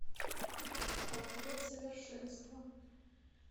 портрет совершенства